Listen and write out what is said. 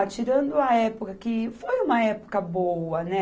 Tirando a época que... foi uma época boa, né?